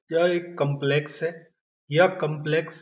यह एक काम्प्लेक्स है यह काम्प्लेक्स --